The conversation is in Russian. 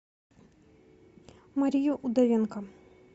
марию удовенко